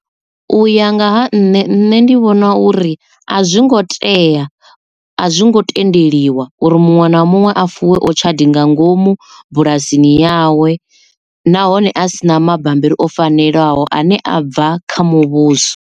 U ya nga ha nṋe nṋe ndi vhona uri a zwi ngo tea a zwi ngo tendeliwa uri muṅwe na muṅwe a fuwe otshadi nga ngomu bulasini yawe nahone a si na mabambiri o fanelaho ane a bva kha muvhuso.